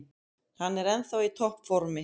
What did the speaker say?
Hann er ennþá í topp formi.